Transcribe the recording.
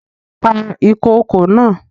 Pa ìkokò naa!